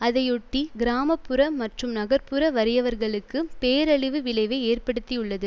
அதையொட்டி கிராம புற மற்றும் நகர்ப் புற வறியவர்களுக்கு பேரழிவு விளைவை ஏற்படுத்தியுள்ளது